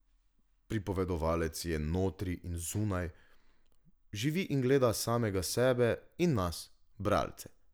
Pripovedovalec je notri in zunaj, živi in gleda samega sebe in nas, bralce.